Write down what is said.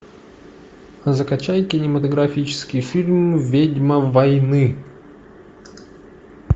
закачай кинематографический фильм ведьма войны